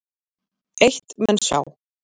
Eitt menn sjá